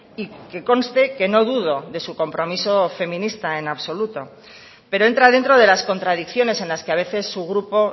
y que conste que no dudo de su compromiso feminista en absoluto pero entra dentro de las contradicciones en las que a veces su grupo